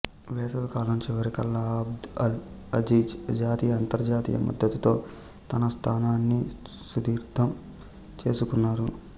వేసవికాలం చివరికల్లా Abd al Aziz జాతీయ అంతర్జాతీయ మద్దతుతో తన స్థానాన్ని సుస్థిరం చేసుకున్నారు